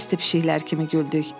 Bəsdir pişikləri kimi güldük.